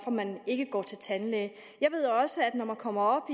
at man ikke går til tandlæge jeg ved også at når man kommer